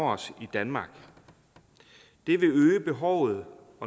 os i danmark det vil øge behovet